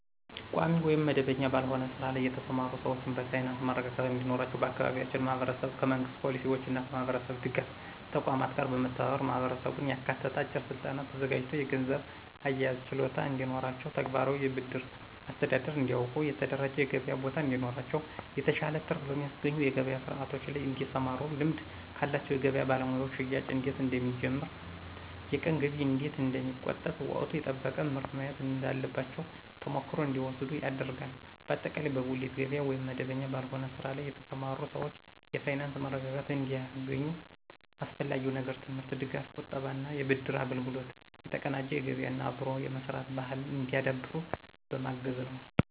ቋሚ ወይም መደበኛ ባልሆነ ስራ ላይ የተሰማሩ ሰዎችን በፋይናንስ መረጋጋት እንዲኖራቸው በአካባቢያችን ማህበረሰብ ከመንግሥት ፖሊሲዎችና ከማህበረሰብ ድጋፍ ተቋማት ጋር በመተባበር ማህበረሰቡን ያካተተ አጭር ስልጠና ተዘጋጅቶ የገንዘብ አያያዝ ችሎታ እንዲኖራቸው፣ ተግባራዊ የብድር አስተዳደር እንዲያውቁ፣ የተደራጀ የገበያ ቦታ እንዲኖራቸው፣ የተሻለ ትርፍ በሚያስገኙ የገበያ ስርዓቶች ላይ እንዲሰማሩና ልምድ ካላቸው የገበያ ባለሙያዎች ሽያጭ እንዴት እንደሚጨምር፣ የቀን ገቢ እንዴት እንደሚቆጠብ፣ ወቅቱን የጠበቀ ምርት መያዝ እንዳለባቸው ተሞክሮ እንዲወስዱ ይደረጋል። በአጠቃላይ በጉሊት ገበያ ወይም መደበኛ ባልሆነ ስራ ላይ የተሰማሩ ሰዎች የፋይናንስ መረጋጋት እንዲያገኙ አስፈላጊው ነገር የትምህርት ድጋፍ፣ የቁጠባና የብድር አገልግሎት፣ የተቀናጀ ገበያና አብሮ የመስራት ባህልን እንዲያዳብሩ በማገዝ ነዉ።